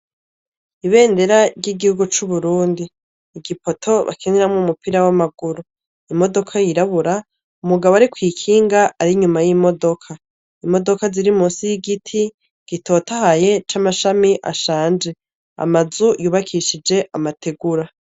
Ibendera ry'igihugu c'Uburundi ,igipoto bakiniramwo umupira w'amaguru, imodoka yirabura, umugabo ari kw' ikinga ari n'inyuma y'imodoka .Imodoka ziri munsi y'igiti gitotahaye c'amashami ashaje, amazu yubakishije amategura.